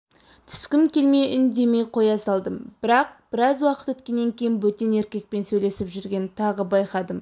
түскім келмей үндемей қоя салдым бірақбіраз уақыт өткеннен кейін бөтен еркекпен сөйлесіп жүргенін тағы байқадым